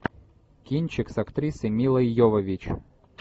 кинчик с актрисой милой йовович